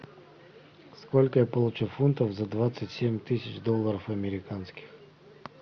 сколько я получу фунтов за двадцать семь тысяч долларов американских